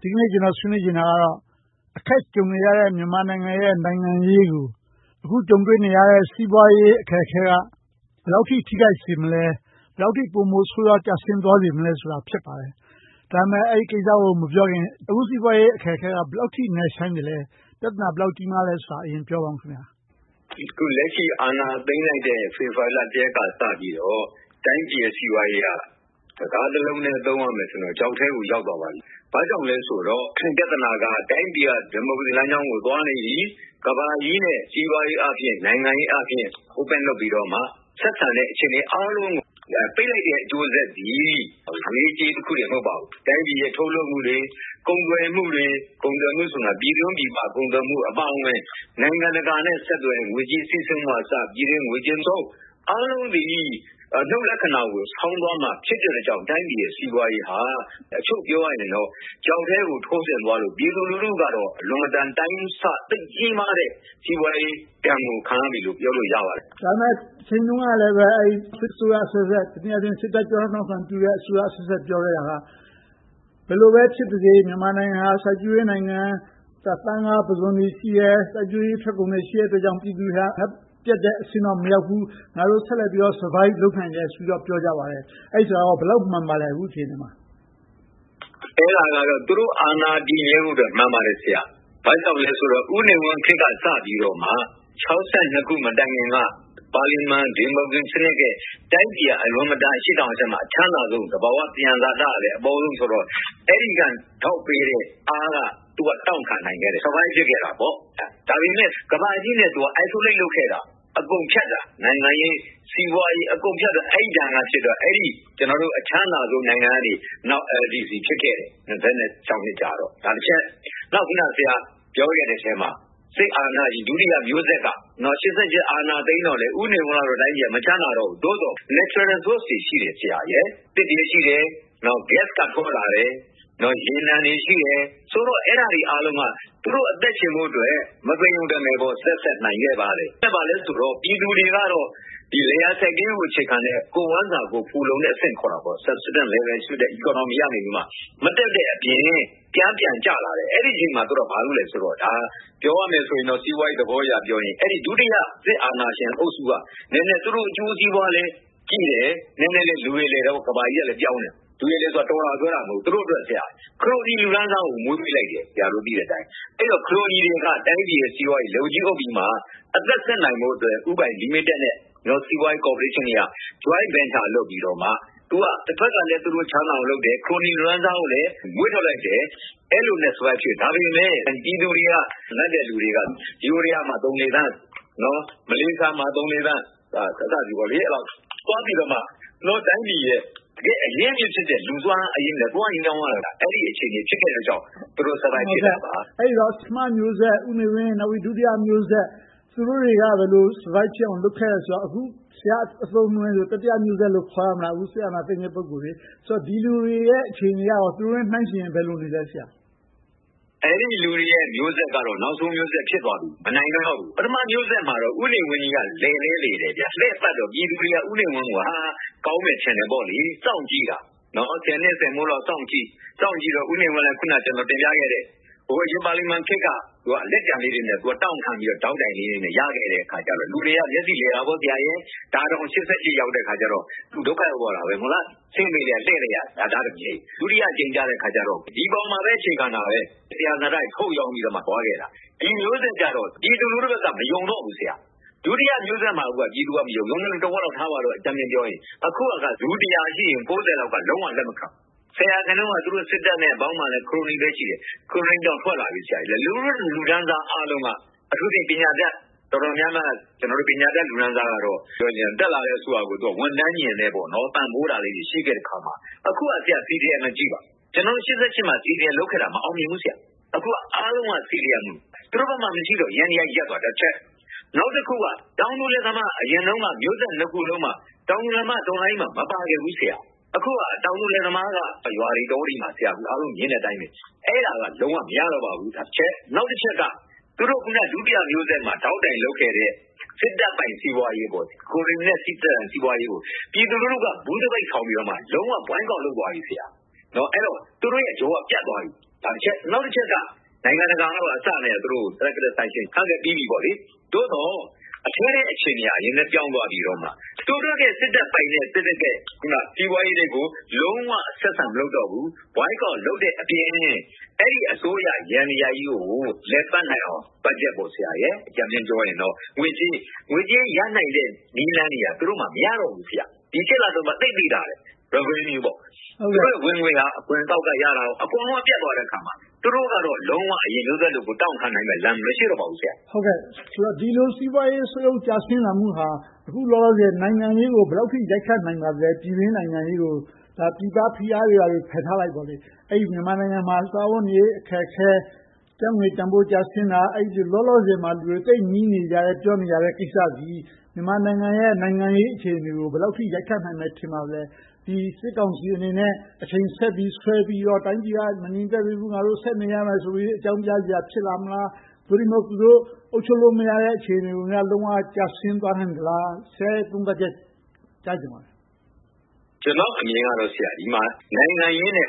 ဒီနေ့ ကျနော်ဆွေးနွေးချင်တာကတော့ အခက်ကြုံနေရတဲ့ မြန်မာနိုင်ငံရဲ့ နိုင်ငံရေးကို အခုကြုံတွေ့နေရတဲ့ စီးပွားရေးအခက်အခဲက ဘယ်လောက်အထိ ထိခိုက်စေမလဲ။ ဘယ်လောက်အထိ ပိုမိုဆိုးဝါးစေမလဲဆိုတာ ဖြစ်ပါတယ်။ ဒီကိစ္စကို မပြောခင်၊ အခုစီးပွားရေးအခက်အခဲက ဘယ်လောက်အထိ နက်ရှိုင်းသလဲ။ ပြဿနာ ဘယ်လောက်အထိ ကြီးမားသလဲဆိုတာကို ပြောပြပါ။ အခုလက်ရှိ အာဏာသိမ်းလိုက်တဲ့ ဖေဖေါ်ဝါရီလ ရက်နေ့ကစပြီးတော့ တိုင်းပြည်ရဲ့ စီးပွားရေးက စကားတစ်လုံးတည်းနဲ့ ပြောရမယ်ဆိုရင်တော့ ချောက်ထဲကို ရောက်သွားပါပြီ။ ဘာကြောင့်လဲဆိုတော့ ပြဿနာက တိုင်းပြည်က ဒီမိုကရေစီလမ်းကြောင်းကို သွားနေပြီ။ ကမ္ဘာကြီးရဲ့ စီးပွားရေးအားဖြင့်၊ နိုင်ငံရေးအားဖြင့် Open လုပ်ပြီးတော့မှ ဆက်ဆံနေတဲ့ အခြေအနေအားလုံးကို ပိတ်လိုက်တဲ့ အကျိုးဆက်သည် ငွေရေးကြေးရေးတစ်ခုတည်း မဟုတ်ပါဘူး။ တိုင်းပြည်ရဲ့ ထုတ်လုပ်မှုတွေ ကုန်သွယ်မှုတွေ။ ကုန်သွယ်မှုဆိုတာ ပြည်တွင်း-ပြည်ပ ကုန်သွယ်မှုအပါအဝင် နိုင်ငံတကာနဲ့ ဆက်သွယ်တဲ့ ငွေကြေးစီးဆင်းမှုကအစ ပြည်တွင်းဝင်ငွေသုံး အားလုံးသည် အနုတ်လက္ခဏာကို ဆောင်သွားမှာ ဖြစ်တဲ့အတွက်ကြောင့် တိုင်းပြည်ရဲ့ စီးပွားရေးက အချုပ်ပြောရရင် ချောက်ထဲကို ထိုးဆင်းသွားတဲ့အတွက် ပြည်သူလူထုကတော့ အလွန်တရာ အတိုင်းအဆ သိပ်ကြီးမားတဲ့ စီးပွားရေးဒဏ်ကို ခံရပြီလို့ ပြောလို့ရပါတယ်။ ဒါပေမဲ့လဲ တချိန်တုန်းကလည်း စစ်အစိုးရအဆက်ဆက် တနည်းအားဖြင့် စစ်တပ်ကျောထောက်နောက်ခံပြုတဲ့ အစိုးရအဆက်ဆက် ပြောခဲ့တာက ဘယ်လိုပဲဖြစ်ပါစေ မြန်မာနိုင်ငံက စိုက်ပျိုးရေးနိုင်ငံ၊ သားငါးပုဇွန်တွေ ရှိတယ်။ စိုက်ပျိုးရေးထွက်ကုန်တွေ ရှိတယ်အတွက်ကြောင့် ပြည်သူတွေက ငတ်ပြတ်တဲ့အဆင့်တော့ မရောက်ဘူး။ ငါတို့ ဆက်လက်ပြီးတော့ survive သက်ရှင်နိုင်တယ်လို့ ပြောကြပါတယ်။ အဲဒီစကားကော ဘယ်လောက်မှန်ပါသလဲ။ အခုအချိန်မှာ။ အဲဒါကတော့ သူတို့အာဏာ တည်မြဲဖို့အတွက် မှန်ပါတယ် ဆရာ။ ဘာကြောင့်လဲဆိုတော့ ဦးနေဝင်းခေတ်က စပြီးတော့မှ ၆၂ ခုနှစ် မတိုင်မီက ပါလီမန်ဒီမိုကရေစီခေတ်ရဲ့ တိုင်းပြည်က အလွန်မတန် အရှေ့တောင်အာရှမှာ အချမ်းသာဆုံး။ သဘာဝသံယံဇာတ အပေါဆုံးဆိုတော့ အဲဒီကထောက်ပေးခဲ့တဲ့အားနဲ့ သူက တောင့်ခံနိုင်ခဲ့တယ်။ သက်ရှင် survive ဖြစ်ခဲ့တယ်။ ဒါပေမဲ့ ကမ္ဘာကြီးနဲ့ သူက အထီးကျန် isolate လုပ်ခဲ့။ အကုန်ဖြတ်ခဲ့တာ နိုင်ငံရေး၊ စီးပွားရေး၊ အကုန်ဖြတ်ခဲ့တော့ အဲဒီဒဏ်က အချမ်းသာဆုံးကနေ နောက်ဆုံး LDC အဆင်းရဲနိုင်ငံ ဖြစ်ခဲ့တယ်။ နောက် ဆရာပြောခဲ့တဲ့အထဲမှာ စစ်အာဏာရှင် ဒုတိယမျိုးဆက်က ၈၈ အာဏာသိမ်းတော့လဲ ဦးနေဝင်းရဲ့ တိုင်းပြည်က မချမ်းသာတော့ဘူး။ သို့သော် သဘာဝသံယံဇာတတွေ ရှိသေးတယ်။ သစ်တွေ၊ ဂတ်စ်တွေ၊ ရေနံတွေ ရှိတယ်ဆိုတော့ အဲဒါတွေအားလုံးက သူတို့အသက်ရှင်ဖို့အတွက် မသေရုံတမယ် သက်ဆက်နိုင်ခဲ့ပါတယ်။ အဲဒါဘာလဲဆိုတော့ ပြည်သူတွေကတော့ လယ်ယာစိုက်ပျိုးရေးကို အခြေခံတဲ့ ကိုယ့်ဝမ်းစာကိုယ် ဖူလုံတဲ့အဆင့်ကနေ မတက်တဲ့အပြင်၊ ပြန်ကျကျလာတယ်။ အဲဒီအချိန်မှာ သူတို့က ဘာလုပ်သလဲဆိုတော့ - ပြောရမယ်ဆိုရင်တော့ စီးပွားရေးသဘောအရပြောရင် အဲဒီဒုတိယ စစ်အာဏာရှင်အုပ်စုက သူတို့အကျိုးစီးပွားလည်းကြည့်တယ်၊ နည်းနည်းလည်း လူရယ်လည်တာပေါ့ - ကမ္ဘာကြီးက ပြောင်းလာတယ်ဆိုတော့။ လူရည်လည်တယ်ဆိုတာ တော်တယ်လို့ပြောတာ မဟုတ်ဘူး။ သူတို့က ခရိုနီလူတန်းစားကို မွေးပေးလိုက်တယ်။ အဲဒီတော့ ခရိုနီတွေက တိုင်းပြည်ရဲ့ စီးပွားရေးကို လက်ဝါးကြီးအုပ်ပြီးမှ အသက်ဆက်နိုင်ဖို့အတွက် ဦးပိုင်လီမီတက်နဲ့ စီးပွားရေးကော်ပိုရှင်းတွေက joint venture လုပ်ပြီးတော့မှ တဘက်ကလဲ သူတို့ချမ်းသာအောင်လုပ်တယ်။ ခရိုနီလူတန်းစားကိုလည်း မွေးထုတ်လိုက်တယ်။ အဲဒီလိုလုပ်ခဲ့ပေမယ့် ပြည်သူတွေက ငတ်တဲ့လူတွေက ယိုးဒယားမှာ သုံးလေးသန်း၊ မလေးရှားမှာ သုံးလေးသန်း သွားပြီးတော့မှ ကျနော်တို့တိုင်းပြည်ရဲ့ တကယ့်အရင်းအမြစ်ဖြစ်တဲ့ လူူစွမ်းအားအရင်းနဲ့ သွားရောင်းရတဲ့ အခြေအနေဖြစ်ခဲ့တာကြောင့် သူတို့ သက်ရှင်နိုင်ခဲ့တာပါ။ အဲဒီတော့ ပထမမျိုးဆက် ဦးနေဝင်း၊ ဒုတိယမျိုးဆက် သူတို့တွေက ဘယ်လို survive ဖြစ်အောင် လုပ်ခဲ့တယ်ဆိုတော့ အခု ဆရာ့အသုံးအနှုန်းနဲ့ဆိုရင် တတိယမျိုးဆက်လို့ ခေါ်ရမလား အခုစစ်အာဏာသိမ်းတဲ့ ပုဂ္ဂိုလ်တွေကို။ ဆိုတော့ ဒီလူတွေရဲ့ အခြေအနေက သူတို့နဲ့နှိုင်းယှဉ်ရင် ဘယ်လိုရှိလဲ။ အဲဒီလူတွေရဲ့ မျိုးဆက်ကတော့ နောက်ဆုံးမျိုးဆက် ဖြစ်သွားပြီ။ မနိုင်နိုင်တော့ပြီ။ ပထမမျိုးဆက်မှာတော့ ဦးနေဝင်းကြီးက လည်လည်းလည်တယ်။ လှည့်ပတ်တော့ ပြည်သူတွေက ဦးနေဝင်းကြီးကို ကောင်းမယ်လို့ ထင်ခဲ့ကြတယ်။ စောင့်ကြည့်ကြတယ်။ ဆယ်နှစ်ဆယ်မိုးလောက် စောင့်ကြည့်တော့ ဦးနေဝင်းလည်း အခုန ကျနော်တင်ပြခဲ့တဲ့ ဒီမိုကရေစီပါလီမန်ခေတ်က လက်ကျန်လေးတွေနဲ့ တောင့်ခံပြီးတော့ ထောက်တိုင်လေးတွေနဲ့ ရခဲ့ကြတဲ့အခါကြတော့ လူတွေက မျက်စိလည်ခဲ့တယ်။ ဒါတောင် ၈၈ ရောက်တဲ့အခါ သူဒုက္ခရောက်သွားခဲ့တယ်။ ဆင်းပေးခဲ့ လှည့်ပေးခဲ့တယ်။ ဒုတိယအကြိမ်ကြတော့ ဒီအပေါ်မျာပဲ အခြေခံတာပဲ။ သံယံဇာတတွေ ထုတ်ရောင်းပြီးတော့ ရှင်သန်ခဲ့တာ။ ဒီမျိုးဆက်ကြတော့ ပြည်သူလူထုဘက်က မယုံတော့ဘူး။ ဒုတိယမျိုးဆက်မှာတင် ပြည်သူလူထုက မယုံခဲ့တာ။ အခုကတော့ လူတစ်ရာရှိရင် ကိုးဆယ်လောက်က လုံးဝလက်မခံတော့ဘူး။ ဆယ်ရာခိုင်နှုန်းလောက်က စစ်တပ်နဲ့ သူတို့အပေါင်းအပါ ခရိုနီတွေပဲ ရှိတယ်။ ခရိုနီတချို့တော့ ထွက်လာပြီ။ လူထုလူတန်းစားအားလုံးက အထူးသဖြင့် ပညာတတ်တော်တော်များများက - ပညာတတ်လူတန်းစားကတော့ တက်လာတဲ့ အစိုးရကို ဝန်ထမ်းညဉ်နဲ့ ပံ့ပိုးတာလေးတွေ ရှိတယ်အခါမှာ အခုက CDM ကိုကြည့်ပါ။ ၈၈ မှာတုန်းက CDM လုပ်ခဲ့တာ မအောင်မြင်ခဲ့ဘူး။ အခုက အားလုံးက CDM။ သူတို့ဘက်မှာ မရှိတော့လို့ ယန္တရားတွေ ရပ်ကုန်တာတစ်ချက်။ နောက်တစ်ခုက တောင်သူတွေမှာ အရင်တုန်းက မျိုးဆက်နှစ်ခုစလုံးမှာ တောင်သူလယ်သမားက တော်လှန်ရေးမှာ မပါခဲ့ဘူး။ အခုက တောင်သူလယ်သမားက ရွာတွေတောတွေမှာ အားလုံးမြင်တဲ့အတိုင်း အဲဒါက လုံးဝမရတော့ပါဘူး။ အဲဒါကတစ်ချက်။ နောက်တစ်ချက်က သူတို့ ဒုတိယမျိုးဆက်မှာ ထောက်တိုင်လုပ်ခဲ့တဲ့ စစ်တပ်ပိုင်စီးပွားရေး ခရိုနီနဲ့ စစ်တပ်စီးပွားရေးကို ပြည်သူလူထုက ‘ဘူးသပိတ်’ ထောင်ပြီးတော့ လုံးဝကန့်ကွက် boycott လုပ်သွားနေပြီ။ အဲဒီတော့ သူတို့မျိုးဆက်ကြောက ပြတ်သွားပြီ။ နောက်တစ်ချက်က နိုင်ငံတကာကပါ သူတို့တွေကို targeted sanction ချခဲ့ပြီးပြီ။ သို့သော် အထဲထဲအခြေအနေက နည်းနည်းပြောင်းသွားပြီးတော့ သူတို့စစ်တပ်ပိုင်တဲ့ စီးပွားရေးတွေကို လုံးဝဆက်ဆံမလုပ်တော့ဘူး။ သပိတ်မှောက်တဲ့အပြင် အဲဒီအစိုးရယန္တရားကြီးကို လည်ပတ်နိုင်အောင် ဘတ်ဂျက် - အကြမ်းမျဉ်းပြောမယ်ဆိုရင် ငွေကြေးရနိုင်မယ့် နည်းလမ်းတွေက မရတော့ဘူး။ ဒီ လအတွင်းမှာ သိပ်သိသာတယ်။ သူတို့ဝင်ငွေ အခွန်အကောက်ကရတာတွေကော အကုန်ပြတ်သွားတဲ့အါမှာ သူတို့ကတော့ လုံးဝအရင်မျိုးဆက်လို တောင့်ခံနိုင်တဲ့ အခြေအနေ မရှိတော့ပါဘူး။ ဒီလိုစီးပွားရေး ဆုတ်ယုတ်ကျဆင်းလာမှုဟာ အခုလောလောဆယ် နိုင်ငံရေးကို ဘယ်လောက်အထိ နိုင်ငံရေးကို ရိုက်ခတ်လာနိုင်ပါသလဲ။ ပြည်တွင်းနိုင်ငံရေးကို ပြည်ပဖိအားတွေ ဘာတွေဖယ်ထားလိုက်ပေါ့။ မြန်မာနိုင်ငံမှာ စားဝတ်နေရေး အခက်အခဲ။ ကျပ်ငွေတန်းဖိုး ကျဆင်းတာ။ လောလောဆယ်မှာ လူတွေ သိပ်ညည်းတွားနေကြတဲ့ကိစ္စသည် မြန်မာနိုင်ငံရဲ့ နိုင်ငံရေးအခြေအနေကို ဘယ်လောက်အထိ ရိုက်ခတ်နိုင်မယ် ထင်ပါသလဲ။ ဒီစစ်ကောင်စီအနေနဲ့ အချိန်ဆက်ပြီး ဆွဲပြီးတော့ တိုင်းပြည်က မငြိမ်မသက်သေးဘူး၊ ငါတို့ ဆက်နေရမယ်လို့ အကြောင်းပြစရာ ဖြစ်လာမလား။ သို့တည်းမဟုတ် သူတို့ အုပ်ချုပ်လို့မရတော့တဲ့ အခြေအနေကို လုံးဝကျဆင်းသွားနိုင်သလား။ ဆရာရဲ့ သုံးသပ်ချက်ကို ကြားချင်ပါတယ်။ ကျနော့်အမြင်ကတော့ အစောကပြောခဲ့တဲ့ နိုင်ငံရေးအနေနဲ့